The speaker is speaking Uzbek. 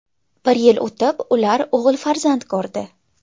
Bir yil o‘tib ular o‘g‘il farzand ko‘rdi.